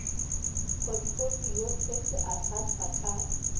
potfolio se se ahlaahlwa ka